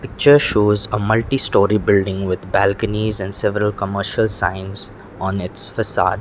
picture shows a multistorey building with balconies and several commercial signs on its facade.